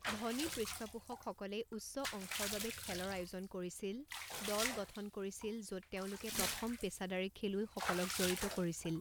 ধনী পৃষ্ঠপোষকসকলে উচ্চ অংশৰ বাবে খেলৰ আয়োজন কৰিছিল, দল গঠন কৰিছিল য'ত তেওঁলোকে প্ৰথম পেছাদাৰী খেলুৱৈসকলক জড়িত কৰিছিল।